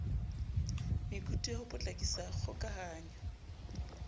mekutu ya ho potlakisa kgokahanyo